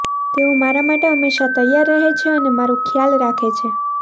તેઓ મારા માટે હંમેશા તૈયાર રહે છે અને મારૂં ખ્યાલ રાખે છે